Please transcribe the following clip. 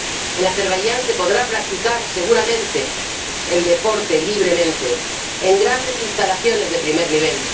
En Azerbaiyán se podrá practicar seguramente el deporte libremente en grandes instalaciones de primer nivel